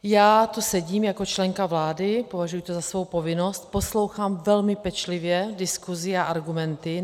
Já tu sedím jako členka vlády, považuji to za svou povinnost, poslouchám velmi pečlivě diskuzi a argumenty.